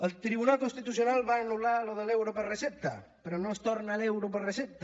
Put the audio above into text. el tribunal constitucional va anul·lar allò de l’euro per recepta però no es torna l’euro per recepta